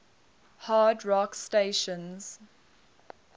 hard rock stations